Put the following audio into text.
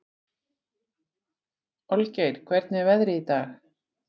Olgeir, hvernig er veðrið í dag?